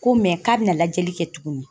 Ko mɛ k'a bɛna lajɛli kɛ tugunni.